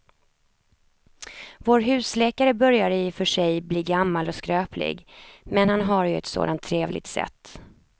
Vår husläkare börjar i och för sig bli gammal och skröplig, men han har ju ett sådant trevligt sätt!